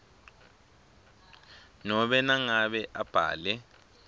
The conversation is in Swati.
nobe nangabe abhale